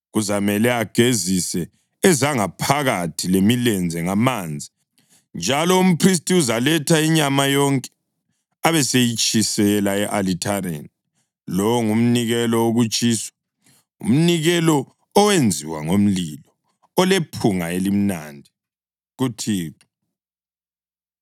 Kuzamele agezise ezangaphakathi lemilenze ngamanzi, njalo umphristi uzaletha inyama yonke, abeseyitshisela e-alithareni. Lowo ngumnikelo wokutshiswa, umnikelo owenziwa ngomlilo, olephunga elimnandi kuThixo.